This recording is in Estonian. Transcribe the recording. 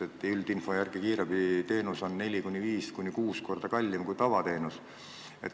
Üldinfo järgi on kiirabiteenus neli, viis või kuus korda kallim kui tavateenus.